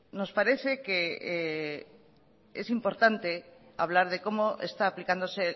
nos parece que es importante hablar de cómo está aplicándose